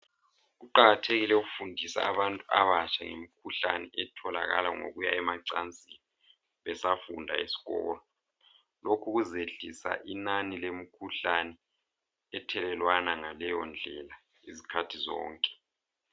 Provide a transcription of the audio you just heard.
Kuqakathekile ukufundisa abantu abatsha ngemikhuhlane etholakala ngokuya emacansini besafunda eskolo. Lokhu kuzehlisa inani lemikhuhlane ethelelwana ngaleyo ndlela izikhathi zonke.